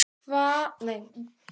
Hvað hefur það staðið lengi yfir?